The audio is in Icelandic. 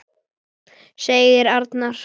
segir Arnar.